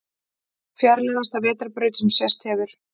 Fjarlægasta vetrarbraut sem sést hefur